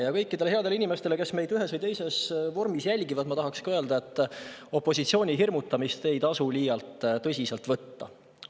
Ja kõikidele headele inimestele, kes meid ühes või teises vormis jälgivad, ma tahaksin öelda, et opositsiooni hirmutamist ei tasu liialt tõsiselt võtta.